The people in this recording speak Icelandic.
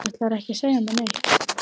Ætlarðu ekki að segja mér neitt?